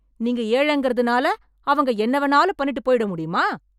நீங்க ஏழைங்கிறதுனால அவங்க என்ன வேண்ணாலும் பண்ணிட்டுப் போயிட முடியுமா?